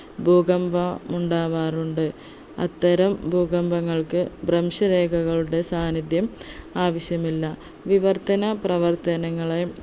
ഭൂകമ്പം ഉണ്ടാവാറുണ്ട് അത്തരം ഭൂകമ്പങ്ങൾക്ക് ഭ്രംശരേഖകളുടെ സാന്നിധ്യം ആവിശ്യമില്ല വിവർത്തന പ്രവർത്തനങ്ങളെ